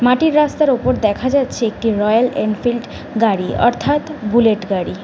মাটির রাস্তার উপর দেখা যাচ্ছে একটি রয়েল এনফিল্ড গাড়ি অর্থাৎ বুলেট গাড়ি।